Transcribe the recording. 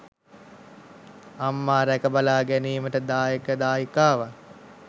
අම්මා රැක බලා ගැනීමට දායක දායිකාවන්